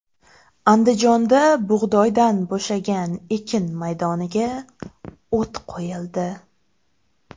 Andijonda bug‘doydan bo‘shagan ekin maydoniga o‘t qo‘yildi.